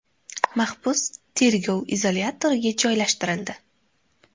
Mahbus tergov izolyatoriga joylashtirildi.